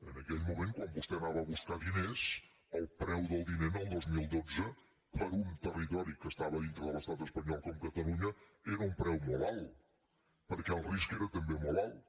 en aquell moment quan vostè anava a buscar diners el preu del diner el dos mil dotze per a un territori que estava dintre de l’estat espanyol com catalunya era un preu molt alt perquè el risc era també molt alt